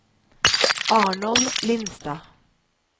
Arnold Lindstad